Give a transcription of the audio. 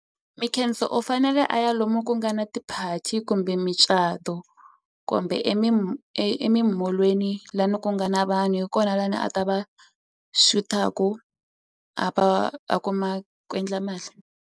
Mikhenso u fanele a ya lomu ku nga na ti-party kumbe micato kumbe emimolweni la ni ku nga na vanhu hi kona la ni a ta va xutaku a va a kuma ku endla mali.